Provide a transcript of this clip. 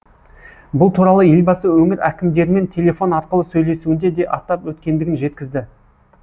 бұл туралы елбасы өңір әкімдерімен телефон арқылы сөйлесуінде де атап өткендігін жеткізді